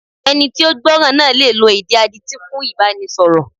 Ẹni tí ó gbọ́ràn náà le lo èdè adití fún Ìbánisọ̀rọ̀.